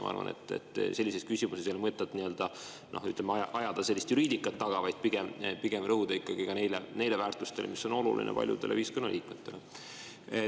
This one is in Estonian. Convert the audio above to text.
Ma arvan, et sellises küsimuses ei ole mõtet nii-öelda sellist juriidikat taga ajada, vaid pigem tuleb rõhuda ikkagi ka neile väärtustele, mis on olulised paljudele ühiskonnaliikmetele.